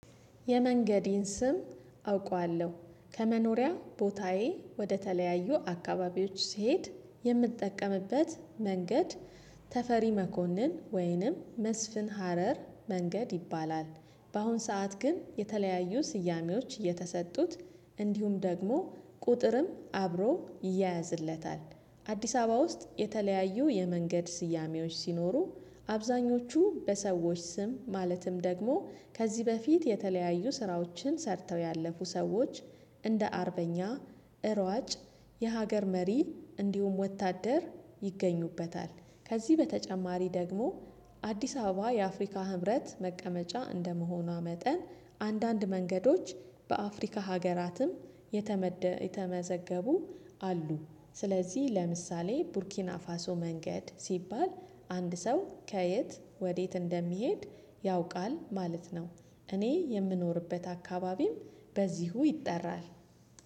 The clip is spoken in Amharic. የመንገዴን ስም አውቃለሁ ከመኖሪያው ቦታዬ ወደተለያዩ አካባቢዎች ሲሄድ የምጠቀምበት መንገድ ተፈሪ መኮንን ወይንም መስፍን ሀረር መንገድ ይባላል። በአሁን ሰዓት ግን የተለያዩ ስያሜዎች እየተሰጡት እንዲሁም ደግሞ ቁጥርም አብሮ ይያያዝለታል። አዲስ አበባ ውስጥ የተለያዩ የመንገድ ስያሜዎች ሲኖሩ አብዛኞቹ በሰዎች ስም ማለትም ደግሞ ከዚህ በፊት የተለያዩ ስራዎችን ሰርተው ያለፉ ሰዎች እንደ አርበኛ እሯጭ የሀገር መሪ እንዲሁም ወታደር ይገኙበታል። ከዚህ በተጨማሪ ደግሞ አዲስ አበባ የአፍሪካ ህብረት መቀመጫ እንደመሆኗ መጠን አንዳንድ መንገዶች በአፍሪካ ሀገራትም የተመዘገቡ አሉ። ስለዚህ ለምሳሌ ቡርኪና ፋሶ መንገድ ሲባል አንድ ሰው ከየት ወዴት እንደሚሄድ ያውቃል ማለት ነው። እኔ የምኖርበት አካባቢም በዚሁ ይጠራል።